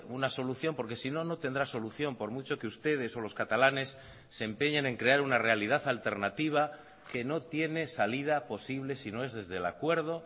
una solución porque sino no tendrá solución por mucho que ustedes o los catalanes se empeñen en crear una realidad alternativa que no tiene salida posible si no es desde el acuerdo